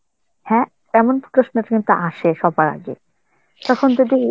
হ্যাঁ তেমন প্রশ্ন কিন্তু তো আসে সবার আগে, তখন যদি